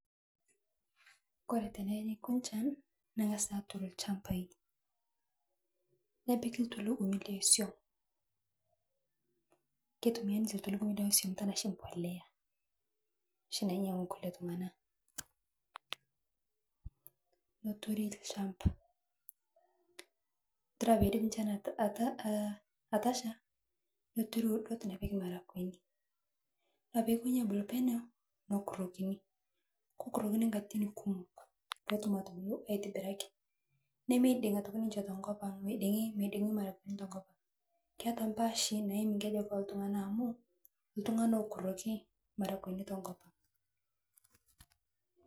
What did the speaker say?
Kore tenenyikuu nshan neng'asuni hatur lshambai, nepikii tulung'umi leesium ketumia ninche tulung'umi tanaa mbolea noshii nanyang'u kulie tung'ana, noturi lshambaa todua peidep shan atasha noturi udot nepiki maragweni kore payie ekonyi abulu peneu nokurokini ,kokurokini katitin kumook potum atubulo aitobiraki nemeidin'gi atoki ninche tokopang' meding meding maragweni tokopang keataa mpaashi naimi nkejek eeh tung'ana amuu tunganaa lokuroki maragweni tokop.